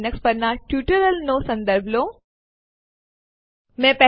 ચાલો હવે સ્લાઇડ્સ પર આગામી આદેશ શીખવા માટે પાછા જઈએ